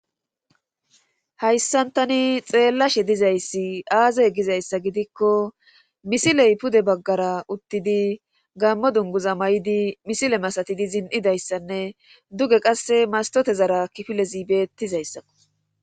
hayssan tani xeellashe dizayssi aaze gizayssa gidikko misile pude baggara uttidi gaamo dunguza mayidi misile masatizi zin7ida issanne duge qassi mastotezara kifilezi beettizayssakko.